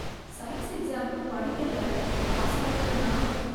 Science எக்ஸாம்க்கு படிக்கல, pass ஆயிடுவேனா?